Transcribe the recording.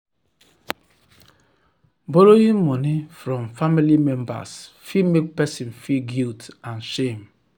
borrowing money from family members fit make person feel guilt and shame.